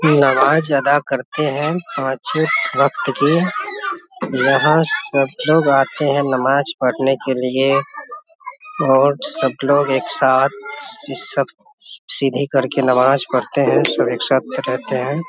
नमाज अदा करते है पांच छे वक्त के यहाँ सब लोग आते है नमाज़ पढ़ने के लिए और सब लोग एक साथ सिसकत सीधी कर के नमाज पढ़ते है सब एक साथ रहते है ।